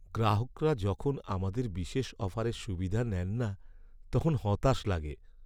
গ্রাহকরা যখন আমাদের বিশেষ অফারের সুবিধা নেন না, তখন হতাশ লাগে।